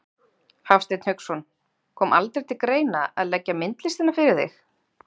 Hafsteinn Hauksson: Kom aldrei til greina að leggja myndlistina fyrir þig?